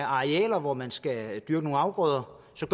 arealer hvor man skal dyrke nogle afgrøder så